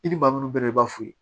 I ni maa min bɛ i b'a f'u ye